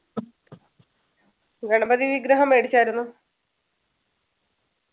ഗണപതി വിഗ്രഹം മേടിച്ചായിരുന്നോ?